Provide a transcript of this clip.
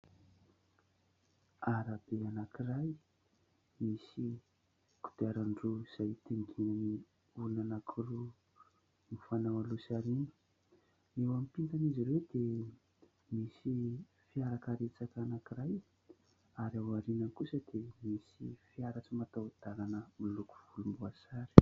Arabe anankiray misy kodiaran-droa izay mitondra olona anankiroa mifanao aloha sy aoriana, eo ampitan'izy ireo dia misy fiarakaretsaka anankiray ary aoriana kosa dia misy fiara tsy mataho-dalana miloko volomboasary